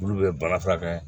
Olu bɛ baara furakɛ